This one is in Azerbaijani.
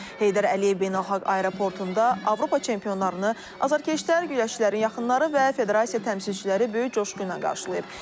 Heydər Əliyev Beynəlxalq Aeroportunda Avropa çempionlarını azərkeşlər, güləşçilərin yaxınları və federasiya təmsilçiləri böyük coşqu ilə qarşılayıb.